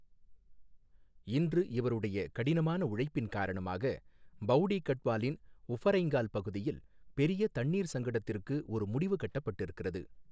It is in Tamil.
இன்று இவருடைய கடினமான உழைப்பின் காரணமாக, பௌடீ கட்வாலின் உஃபரைங்கால் பகுதியில் பெரிய தண்ணீர் சங்கடத்திற்கு ஒரு முடிவு கட்டப்பட்டிருக்கிறது.